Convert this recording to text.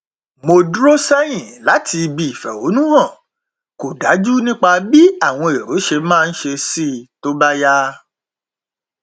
mo dúró sẹyìn láti ibi ìfẹhónúhàn kò dájú nípa bí àwọn èrò ṣe máa ṣe sí i tó bá yá